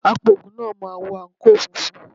Apògùn náà máa wọ àǹkóò funfun.